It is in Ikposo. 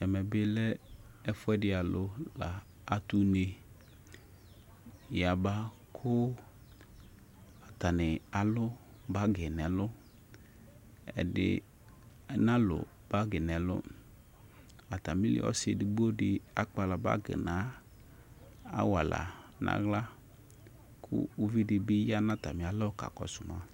Ɛmɛbɩ ɛfʊɛdɩ alʊ atʊ une yaba atanɩ alʊ bagi nʊ ɛlʊ ɛdɩ alʊ bagi nʊ ɛlʊ atmɩlɩ ɔsɩ edigbodɩ akpala bagi nu awala nʊ aɣla kʊ ʊvɩdɩ ya kakɔsʊma